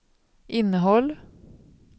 innehåll